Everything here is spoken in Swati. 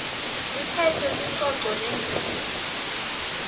liphetse sicoco nendvuku